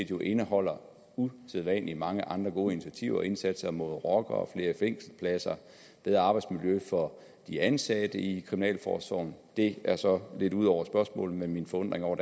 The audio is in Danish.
jo indeholder usædvanlig mange andre gode initiativer indsatser mod rockere flere fængselspladser bedre arbejdsmiljø for de ansatte i kriminalforsorgen det er så lidt ud over spørgsmålet men min forundring over